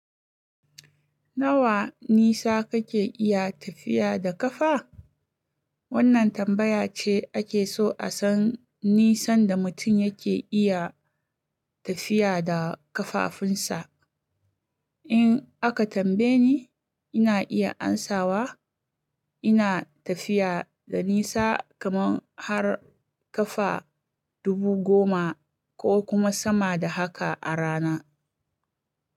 Nawa, nisa kake iya tafiya da kafa? Wannan tambaya ce, ake so a san nisan da mutum yake iya tafiya da kafafunsa. In aka tambaye ni, ina iya amsawa, ina tafiya da nisa kaman har kafa dubu goma, ko kuma sama da haka a rana.